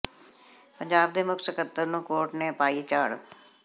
ਪੰਜਾਬ ਦੇ ਮੁੱਖ ਸਕੱਤਰ ਨੂੰ ਕੋਰਟ ਨੇ ਪਾਈ ਝਾੜ